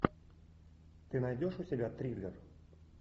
ты найдешь у себя триллер